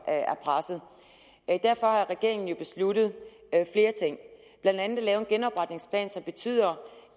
er presset derfor har regeringen jo besluttet flere ting blandt andet at lave en genopretningsplan som betyder